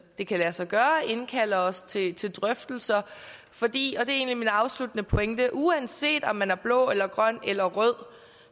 det kan lade sig gøre indkalder os til til drøftelser fordi og er egentlig min afsluttende pointe uanset om man er blå eller grøn eller rød